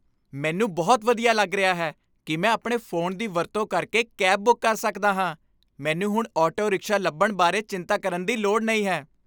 ਮੈਨੂੰ ਬਹੁਤ ਵਧੀਆ ਲੱਗ ਰਿਹਾ ਹੈ ਕੀ ਮੈਂ ਆਪਣੇ ਫ਼ੋਨ ਦੀ ਵਰਤੋਂ ਕਰਕੇ ਕੈਬ ਬੁੱਕ ਕਰ ਸਕਦਾ ਹਾਂ ਮੈਨੂੰ ਹੁਣ ਆਟੋ ਰਿਕਸ਼ਾ ਲੱਭਣ ਬਾਰੇ ਚਿੰਤਾ ਕਰਨ ਦੀ ਲੋੜ ਨਹੀਂ ਹੈ